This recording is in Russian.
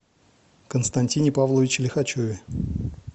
константине павловиче лихачеве